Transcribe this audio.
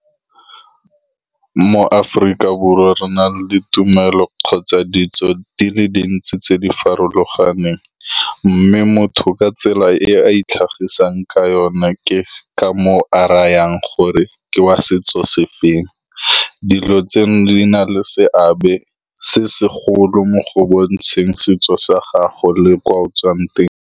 Mo Aforika Borwa re na le ditumelo kgotsa ditso di le dintsi tse di farologaneng, mme motho ka tsela e a itlhagisang ka yone ke ka moo a rayang gore ke wa setso sefeng. Dilo tseno di na le seabe se segolo mo go bontsheng setso sa gago le kwa o tswang teng.